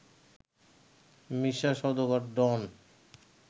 মিশা Sawdagar, ডন